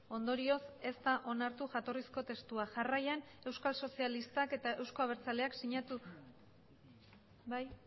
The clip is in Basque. ondorioz ez da onartu jatorrizko testua jarraian euskal sozialistak eta euzko abertzaleak sinatu bai